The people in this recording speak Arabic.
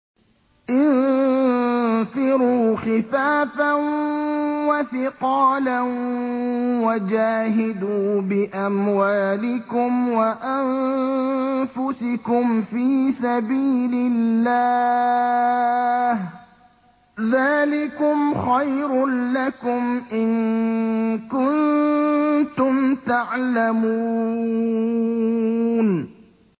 انفِرُوا خِفَافًا وَثِقَالًا وَجَاهِدُوا بِأَمْوَالِكُمْ وَأَنفُسِكُمْ فِي سَبِيلِ اللَّهِ ۚ ذَٰلِكُمْ خَيْرٌ لَّكُمْ إِن كُنتُمْ تَعْلَمُونَ